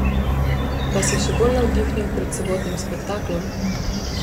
Vas je še bolj navdihnil pred sobotnim spektaklom?